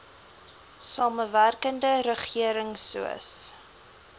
samewerkende regering soos